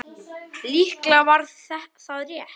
Líklega var það rétt.